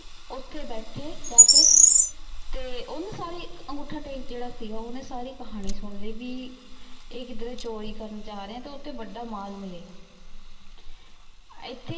ਓਥੇ ਬੈਠੀ ਜਾ ਕੇ ਤੇ ਊ ਨੇ ਸਾਰੇ ਅਨ੍ਗੋਥਾ ਟੇਕ ਸੀਗਾ ਜੇਰਾ ਊ ਨਾ ਸਾਰੇ ਕਹਾਨੀ ਸੁਣਦੇ ਭੀ ਈਯ ਕਿਦ੍ਰੀ ਚੋਰੀ ਕਰਨ ਜਾ ਰਹੀ ਤੇ ਓਥੇ ਵਾਦਾ ਮਾਲ ਮਿਲੇ ਗਾ ਏਥੇ